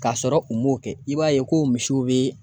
K'a sɔrɔ u m'o kɛ i b'a ye ko misiw bɛ